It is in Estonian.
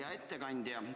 Hea ettekandja!